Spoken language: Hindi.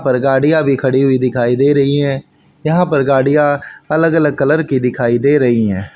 पर गाड़ियां भी खड़ी हुई दिखाई दे रही है यहां पर गाड़ियां अलग अलग कलर की दिखाई दे रही हैं।